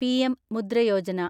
Pradhan Mantri Mudra Yojana